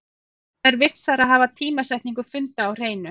Það er vissara að hafa tímasetningu funda á hreinu.